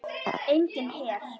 Enginn her.